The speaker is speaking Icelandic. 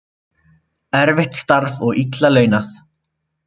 Erfitt starf og illa launað